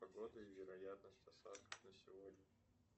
погода и вероятность осадков на сегодня